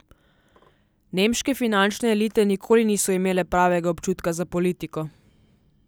Nemške finančne elite nikoli niso imele pravega občutka za politiko.